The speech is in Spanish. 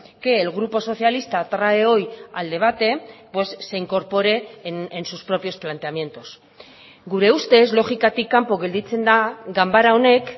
que el grupo socialista trae hoy al debate pues se incorpore en sus propios planteamientos gure ustez logikatik kanpo gelditzen da ganbara honek